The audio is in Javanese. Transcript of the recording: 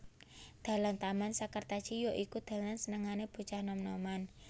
Dalan Taman Sekartaji ya iku dalan senengané bocah nom noman